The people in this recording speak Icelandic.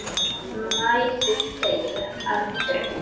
Mæður deyja aldrei.